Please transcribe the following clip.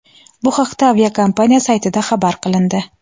Bu haqda aviakompaniya saytida xabar qilindi.